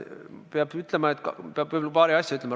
Peab võib-olla paari asja ütlema.